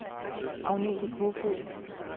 Agnete Koefoed